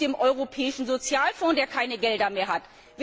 B. auch mit dem Europäischen Sozialfonds, der keine Gelder mehr hat.